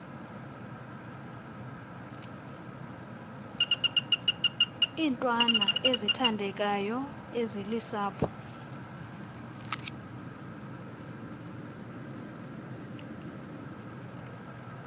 iintwana ezithandekayo ezilusapho